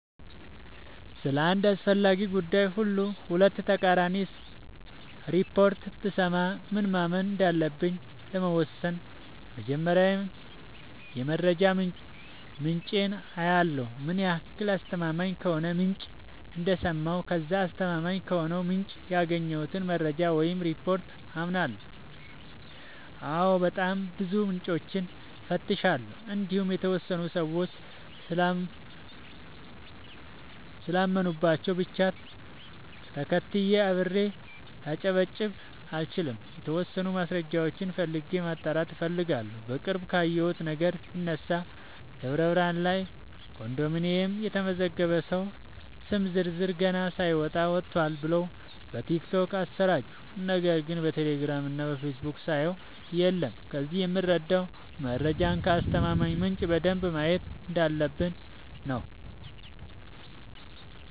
ስለ አንድ አስፈላጊ ጉዳይ ሁለት ተቃራኒ ሪፖርት ብሰማ ምን ማመን እንዳለብኝ ለመወሠን መጀመሪያ የመረጃ ምንጬን አያለሁ ምን ያህል አስተማማኝ ከሆነ ምንጭ እንደሰማሁ ከዛ አስተማማኝ ከሆነው ምንጭ ያገኘሁትን መረጃ ወይም ሪፓርት አምናለሁ አዎ በጣም ብዙ ምንጮችን እፈትሻለሁ እንዲሁም የተወሰኑ ሰዎች ስላመኑባቸው ብቻ ተከትዬ አብሬ ላጨበጭብ አልችልም የተወሰኑ ማስረጃዎችን ፈልጌ ማጣራት እፈልጋለሁ። በቅርብ ካየሁት ነገር ብነሳ ደብረብርሃን ላይ ኮንዶሚኒየም የተመዘገበ ሰው ስም ዝርዝር ገና ሳይወጣ ወጥቷል ብለው በቲክቶክ አሰራጩ ነገር ግን በቴሌግራም እና በፌስቡክ ሳየው የለም ከዚህ የምረዳው መረጃን ከአስተማማኝ ምንጭ በደንብ ማየት እንዳለበ፣ ብኝ ነው።